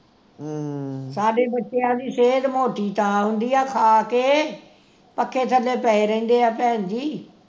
ਸਾਡੇ ਬੱਚਿਆਂ ਦੀ ਸਿਹਤ ਮੋਟੀ ਤਾਂ ਹੁੰਦੀ ਆ ਖਾ ਕੇ ਪੱਖੇ ਥੱਲੇ ਪਏ ਰਹਿੰਦੇ ਆ ਭੈਣ ਜੀ